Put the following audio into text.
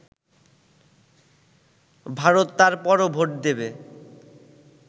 ভারত তারপরও ভোট দেবে